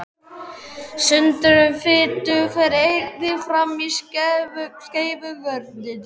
Sundrun fitu fer einnig fram í skeifugörninni.